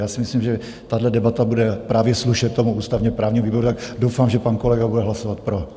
Já si myslím, že tahle debata bude právě slušet tomu ústavně právnímu výboru a doufám, že pan kolega bude hlasovat pro.